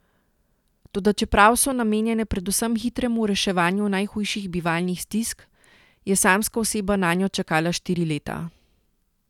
Toda čeprav so namenjene predvsem hitremu reševanju najhujših bivalnih stisk, je samska oseba nanjo čakala štiri leta.